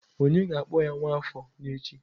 Onye ga-akpọ ya Nwafor n'echi.